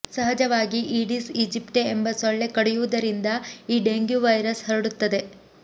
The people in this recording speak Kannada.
ಸಹಜವಾಗಿ ಈಡೀಸ್ ಈಜಿಪ್ಟೆ ಎಂಬ ಸೊಳ್ಳೆ ಕಡಿಯುವುದರಿಂದ ಈ ಡೆಂಗ್ಯೂ ವೈರಸ್ ಹರಡುತ್ತದೆ